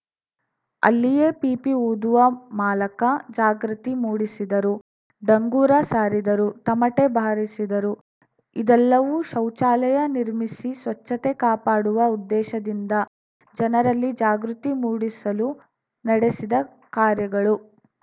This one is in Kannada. ಅಲ್ಲಿಯೇ ಪೀಪಿ ಊದುವ ಮಾಲಕ ಜಾಗೃತಿ ಮೂಡಿಸಿದರು ಡಂಗುರ ಸಾರಿದರು ತಮಟೆ ಬಾರಿಸಿದರು ಇದೆಲ್ಲವೂ ಶೌಚಾಲಯ ನಿರ್ಮಿಸಿ ಸ್ವಚ್ಛತೆ ಕಾಪಾಡುವ ಉದ್ದೇಶದಿಂದ ಜನರಲ್ಲಿ ಜಾಗೃತಿ ಮೂಡಿಸಲು ನಡೆಸಿದ ಕಾರ‍್ಯಗಳು